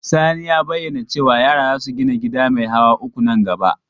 Sani ya bayyana cewa yara za su gina gida mai hawa uku nan gaba.